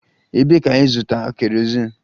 Ebee ka ịzụta kerosin?